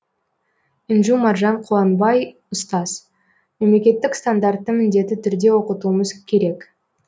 інжу маржан қуанбай ұстаз мемлекеттік стандартты міндетті түрде оқытуымыз керек